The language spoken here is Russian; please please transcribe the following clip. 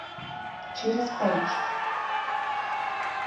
через париж